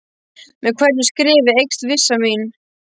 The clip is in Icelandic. Með hverju skrefi eykst vissa mín.